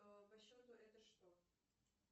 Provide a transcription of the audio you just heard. по счету это что